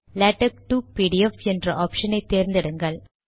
LaTeX to PDF என்ற option ஐ தேர்ந்து எடுங்கள்